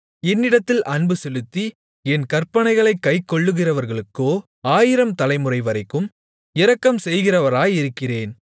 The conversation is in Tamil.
என்னிடத்தில் அன்புசெலுத்தி என் கற்பனைகளைக் கைக்கொள்ளுகிறவர்களுக்கோ ஆயிரம் தலைமுறைவரைக்கும் இரக்கம்செய்கிறவராயிருக்கிறேன்